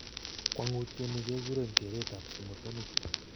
Kwang'utioni kekureen kereet ab simotonik